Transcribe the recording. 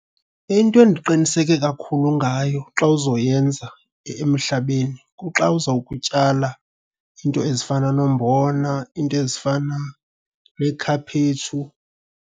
Into endiqiniseke kakhulu ngayo xa uzoyenza emhlabeni kuxa uzawukutyala iinto ezifana noombona, iinto ezifana neekhaphetshu.